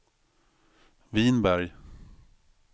Vinberg